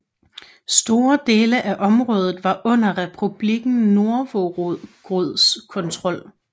Store dele af området var under Republikken Novgorods kontrol